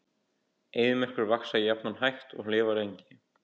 Eyðimerkurplöntur vaxa jafnan hægt og lifa lengi.